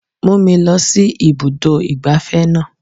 Mú mi lọ sí ibùdó ìgbafẹ́ náà.